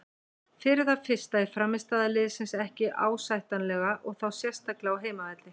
Fyrir það fyrsta er frammistaða liðsins ekki ásættanlega og þá sérstaklega á heimavelli.